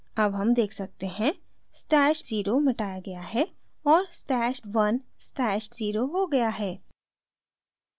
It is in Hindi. अब हम देख सकते हैं stash @{0} मिटाया गया है और stash @{1} stash @{0} हो गया है